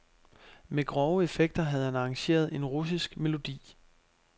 Med grove effekter havde han arrangeret en russisk melodi.